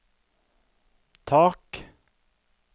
tak